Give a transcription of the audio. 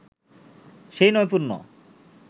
সেই নৈপুন্য